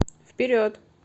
вперед